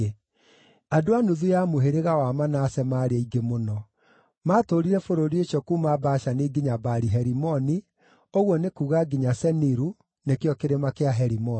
Andũ a nuthu ya mũhĩrĩga wa Manase maarĩ aingĩ mũno; maatũũrire bũrũri ũcio kuuma Bashani nginya Baali-Herimoni, ũguo nĩ kuuga nginya Seniru (nĩkĩo Kĩrĩma kĩa Herimoni).